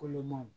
Kolomanw